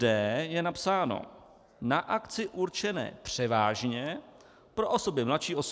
d) je napsáno: na akce určené převážně pro osoby mladší 18 let.